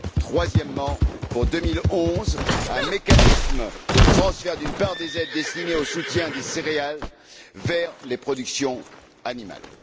Troisièmement, pour 2011, un mécanisme de transfert d'une part des aides destinées au soutien des céréales vers les productions animales.